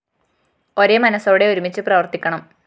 ഒരേ മനസോടെ ഒരുമിച്ചു പ്രവര്‍ത്തിക്കണം